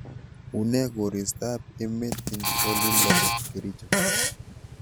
Unee koristob emet eng olindo bo kericho